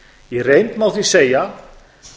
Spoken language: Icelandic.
í reynd má því segja